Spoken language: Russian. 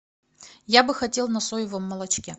я бы хотел на соевом молочке